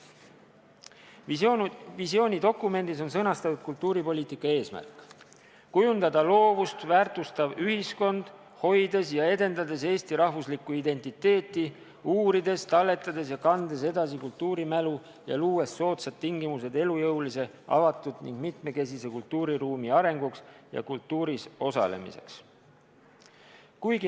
Visioonidokumendis "Kultuur 2020" on sõnastatud kultuuripoliitika eesmärk: "Kujundada loovust väärtustav ühiskond, hoides ja edendades eesti rahvuslikku identiteeti, uurides, talletades ja kandes edasi kultuurimälu ja luues soodsad tingimused elujõulise, avatud ning mitmekesise kultuuriruumi arenguks ja kultuuris osalemiseks.